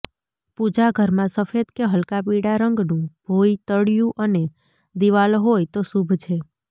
પૂજા ઘરમાં સફેદ કે હલકા પીળા રંગનું ભોયતળિયું અને દિવાલો હોય તો શુભ છે